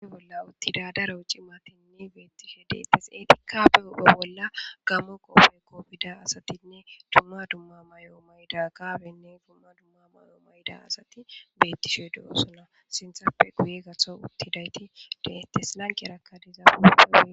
Uni bolla uttida daro cimatinnne beettishe deetes etikka be upho bolla gammo qoope koofida asatinne dumma dumma mayo mayda gaabenne dumma dumma mayo mayda asati bettishe du'osona sinthappe guye gatho uttidayti deettes lanqerakkadizaapuae.